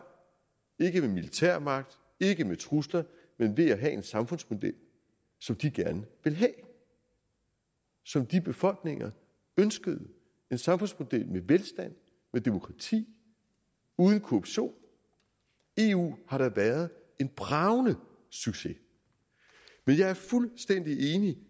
ikke med militærmagt ikke med trusler men ved at have en samfundsmodel som de gerne ville have og som de befolkninger ønskede en samfundsmodel med velstand og demokrati og uden korruption eu har da været en bragende succes men jeg er fuldstændig enig